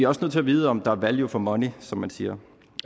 også nødt til at vide om der er value for money som man siger